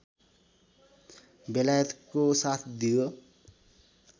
बेलायतको साथ दियो